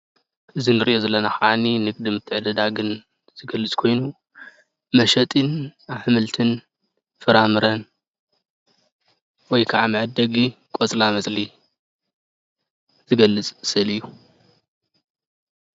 እዚ እንርኦ ዘለና ካዓኒ ንንግዲ ምትዐድዳግን ዝገልፅ ኮይኑ መሸጥን አሕመልቲን ፍራምረን ወይ ከዓ መዐደጉ ቆፅላ መፅሊ ዝገልፅ ስእሊ እዩ።